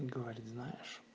и говорит знаешь